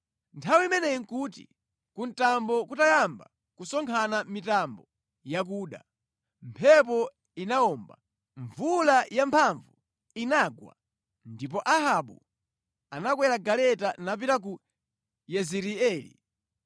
Nthawi imeneyi nʼkuti kuthambo kutayamba kusonkhana mitambo yakuda, mphepo inawomba, mvula yamphamvu inagwa ndipo Ahabu anakwera galeta napita ku Yezireeli.